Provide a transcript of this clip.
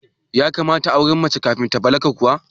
Ya kamata a aurar da mace kafin ta balaga kuwa?